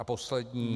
A poslední -